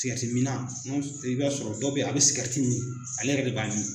Sigarɛtiminna i b'a sɔrɔ dɔw bɛ a bɛ sigarɛtimin ale yɛrɛ de b'a min.Ɔ